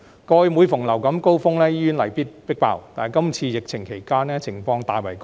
過去每逢流感高峰期，醫院例必被"迫爆"，今次疫情期間情況卻大為改善。